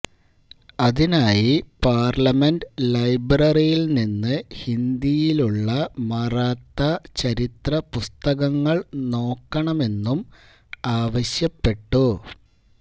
അതിനായി പാര്ലമെന്റ് ലൈബ്രറിയില് നിന്ന് ഹിന്ദിയിലുള്ള മറാത്ത ചരിത്ര പുസ്തകങ്ങള് നോക്കണമെന്നും ആവശ്യപ്പെട്ടു